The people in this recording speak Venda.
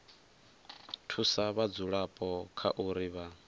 thusa vhadzulapo kha uri vha